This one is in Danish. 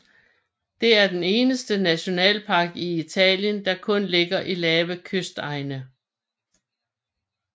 Det er den eneste nationalpark i Italien der kun ligger i lave kystegne